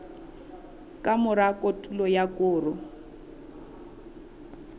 ka mora kotulo ya koro